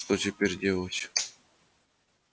что теперь делать тихонько спросил гарри